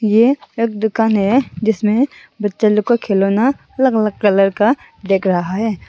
यह एक दुकान है जिसमें बच्चा लोग का खिलौना अलग-अलग कलर का दिख रहा है।